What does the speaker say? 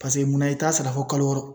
munna i t'a sara fɔ kalo wɔɔrɔ